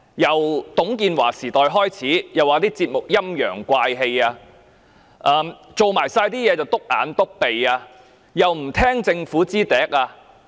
自董建華時代開始，港台的節目被指"陰陽怪氣"，所做的事"篤眼篤鼻"，亦不聽從政府的話。